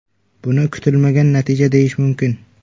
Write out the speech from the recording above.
Buni kutilmagan natija deyish mumkin.